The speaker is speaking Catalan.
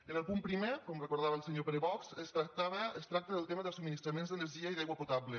en el punt primer com recordava el senyor pere bosch es tracta del tema dels subministraments d’energia i d’aigua potable